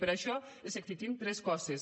per això els exigim tres coses